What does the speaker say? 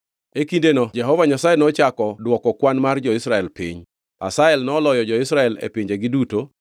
E kindeno Jehova Nyasaye nochako dwoko kwan mar jo-Israel piny, Hazael noloyo jo-Israel e pinjegi duto,